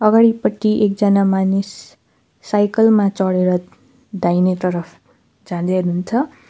अगाडिपटि एकजना मानिस साइकल मा चढेर दाहिने तर्फ जाँदै हुनुहुन्छ।